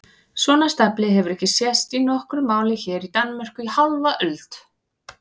Svona stafli hefur ekki sést í nokkru máli hér í Danmörku í hálfa öld!